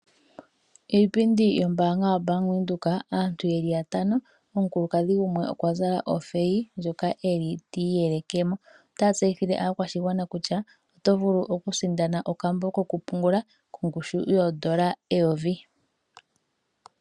Iipindi yombaanga yaBank Windhoek aantu yeli yatano omukulukadhi gumwe okwa zala otheyi ngoka eli tiyelekemo , otaa steyithile aakwashigwana kutya otovulu okusindana okambo koku pungula kongushu yoodola eyovi.